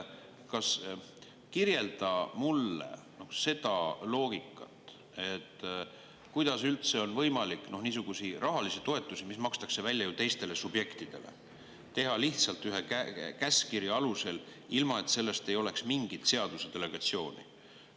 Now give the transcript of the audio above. Kirjelda mulle seda loogikat, kuidas üldse on võimalik niisuguseid rahalisi toetusi, mis makstakse välja ju teistele subjektidele, teha lihtsalt ühe käskkirja alusel, ilma et selleks oleks mingit seaduse delegatsiooni.